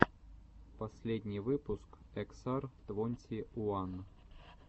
последний выпуск эксар твонти уан